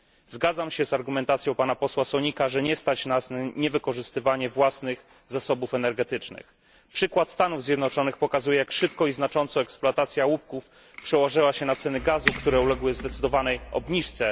Zgadzam się z argumentacją pana posła Sonika, że nie stać nas na niewykorzystywanie własnych zasobów energetycznych. Przykład Stanów Zjednoczonych pokazuje, jak szybko i znacząco eksploatacja łupków przełożyła się na ceny gazu, które uległy zdecydowanej obniżce.